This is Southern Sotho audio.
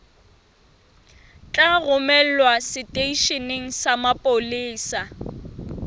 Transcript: tla romelwa seteisheneng sa mapolesa